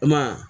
I ma ye wa